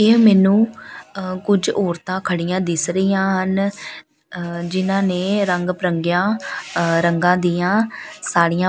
ਇਹ ਮੈਨੂੰ ਅ ਕੁਝ ਔਰਤਾਂ ਖੜੀਆਂ ਦਿਸ ਰਹੀਆਂ ਹਨ ਅ ਜਿਨ੍ਹਾਂ ਨੇ ਰੰਗ ਬਰੰਗੀਆਂ ਅ ਰੰਗਾਂ ਦੀਆਂ ਸਾੜੀਆਂ --